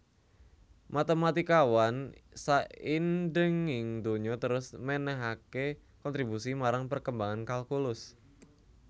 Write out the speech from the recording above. Matématikawan saindhenging donya terus mènèhaké kontribusi marang perkembangan kalkulus